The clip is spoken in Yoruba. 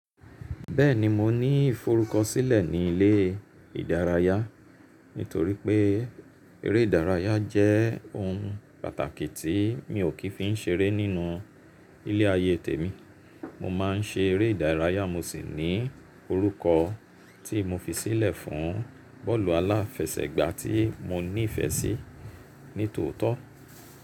Bẹ́ẹ̀ni mo ní ìforúkọ sílẹ̀ ní ilé ìdárayá nítorí pé eré ìdárayá jẹ́ ohun pàtàkì tí mi ò kí fi ń seré nínú ilé ayé tèmi. Mo má ń ṣe eré ìdárayá mo sì ní orúkọ tí mo fi sílẹ̀ fún bọ́ọ̀lù aláfẹsẹ̀gbá tí mo ní ìfẹ́ sí ní tòótọ́.